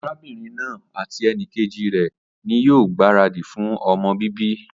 Arábínrin naa àti enìkejì rè ní yío gbàradì fun ọmọ bíbí